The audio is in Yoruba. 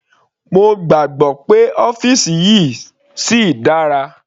Mo gbàgbọ́ pé ọ́fìsì yìí síi dára.